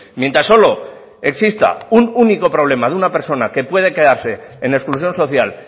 mientras solo exista un único problema de una persona que puede quedarse en exclusión social